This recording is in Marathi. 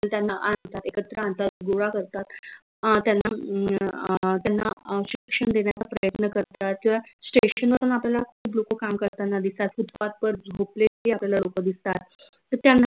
तर त्यांना आनतात एकत्र आनतात गोळा करतात अं त्यांना हम्म अं त्यांना शिक्षन देन्याचा प्रयत्न करतात किंव्हा station वर आपल्याला लोक काम करतांना दिसतात footpath वर झोपलेली आपल्याला लोक दिसतात तर त्यांना